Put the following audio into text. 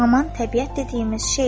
Haman təbiət dediyimiz şeydir.